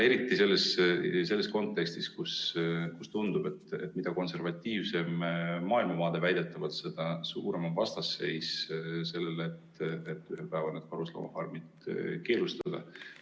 Eriti selles kontekstis, kus tundub, et mida konservatiivsem maailmavaade, väidetavalt, seda suurem on vastasseis sellele, et ühel päeval karusloomafarmid keelustatakse.